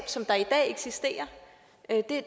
der i dag eksisterer